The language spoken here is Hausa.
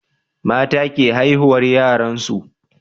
mata ke haihuwar yaran su